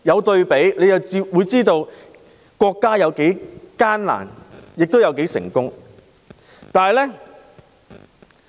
對比之下，我知道國家有多艱難，亦有多成功。